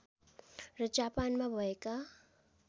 र जापानमा भएका